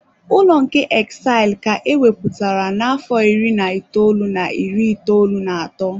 Ụlọ nke Exile ka a ewepụtara n'afọ iri na itoolu na iri itoolu na atọ.